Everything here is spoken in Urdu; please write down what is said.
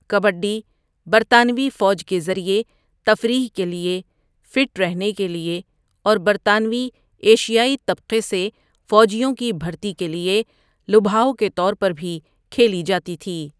کبڈی، برطانوی فوج کے ذریعے تفریح کے لیے، فٹ رہنے کے لیے اور برطانوی ایشیائی طبقے سے فوجیوں کی بھرتی کے لیے لبھاؤ کے طور پر بھی کھیلی جاتی تھی۔